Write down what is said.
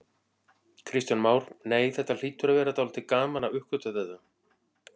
Kristján Már: Nei, þetta hlýtur að vera dálítið gaman að uppgötva þetta?